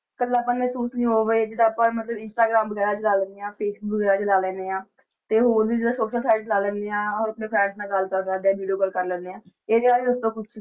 ਇਕੱਲਾ ਪਨ ਮਹਿਸੂਸ ਨੀ ਹੋਵੇ, ਜਿੱਦਾਂ ਆਪਾਂ ਮਤਲਬ ਇੰਸਟਾਗ੍ਰਾਮ ਵਗ਼ੈਰਾ ਚਲਾ ਲੈਂਦੇ ਹਾਂ ਫੇਸਬੁੱਕ ਵਗ਼ੈਰਾ ਚਲਾ ਲੈਂਦੇ ਹਾਂ ਤੇ ਹੋਰ ਵੀ ਜਿੱਦਾਂ social site ਚਲਾ ਲੈਂਦੇ ਹਾਂ, ਆਪਣੇ friends ਨਾਲ ਗੱਲ ਕਰ ਸਕਦੇ ਹਾਂ video call ਕਰ ਲੈਂਦੇ ਹਾਂ ਇਹਦੇ ਬਾਰੇ ਦੱਸੋ ਕੁਛ।